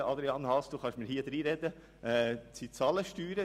Nein, Grossrat Haas, Sie können mir nun reinreden.